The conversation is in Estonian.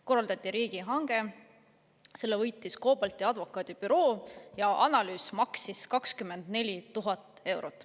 Korraldati riigihange, selle võitis advokaadibüroo COBALT ja analüüs maksis 24 000 eurot.